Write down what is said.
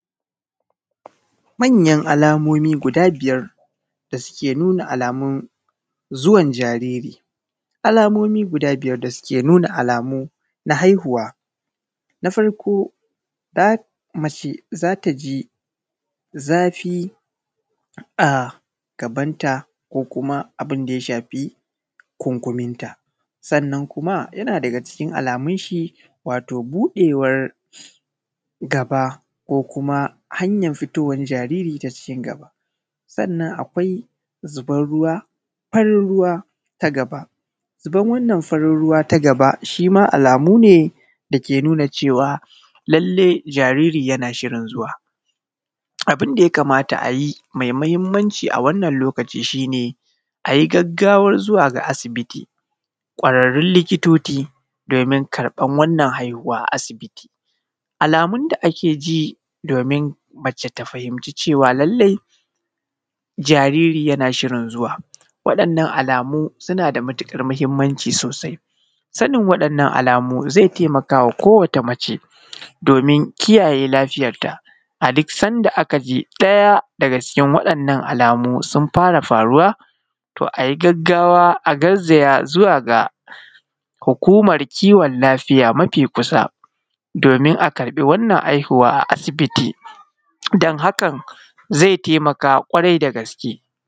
Manyan alamomi guda biyar da suke nuna alamun zuwan jariri, alamomi guda biyar da suke nuna alamu na haihuwa. Na farko laf; mace za ta ji zafi a gabanta ko kuma abin da ya shafi kunkuminta. Sannan kuma, yana daga cikin alamun shi, wato buɗewar gaba ko kuma hanyan fitowan jariri ta cikin gaba. Sannan akwai zibar ruwa, farir ruwa ta gaba. Ziban wannan farin ruwa ta gaba, shi ma alamu ne, da ke nuna cewa, lalle jariri yana shirin zuwa. Abin da ya kamata a yi, me mahimmanci a wannan lokaci shi ne, a yi gaggawar zuwa ga asibiti, ƙwararrun likitoti domin karƃar wannan haihuwa a asibiti. Alamun da ake ji domin mace ta fahimci cewa lallai, jariri yana shirin zuwa, waɗannan alamu suna da matuƙar mahimmanci sosai. Sanin waɗannan alamu, ze temaka wa kowata mace, domin kiyaye lafiyarta, a dik sanda aka ji ɗaya daga cikin waɗannan alamu, sun fara faruwa, to a yi gaggawa a garzaya zuwa ga hukumar kiwon lafiya mafi kusa, domin a karƃi wannan aihuwa a asibiti, dan hakan, ze temaka ƙwarai da gaske.